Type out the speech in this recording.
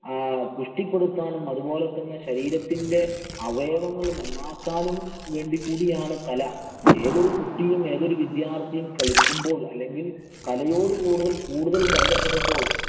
ആഹ് പുഷ്ടിപ്പെടുത്താനും, അതുപോലെ തന്നെ ശരീരത്തിന്‍റെ അവയവങ്ങള്‍ നന്നാക്കാനും കൂടി വേണ്ടിയാണ് കല. ഏതൊരു കുട്ടിയും, ഏതൊരു വിദ്യാര്‍ത്ഥിയും കലയോട് കൂടുതല്‍ കൂടുതല്‍ ബന്ധപ്പെടുമ്പോള്‍